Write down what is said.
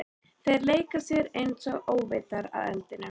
Þeir leika sér einsog óvitar að eldinum.